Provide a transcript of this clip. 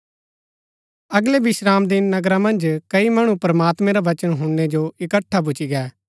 अगलै विश्रामदिन नगरा मन्ज कई मणु प्रमात्मैं रा वचन हुणनै जो इकट्ठा भूच्ची गै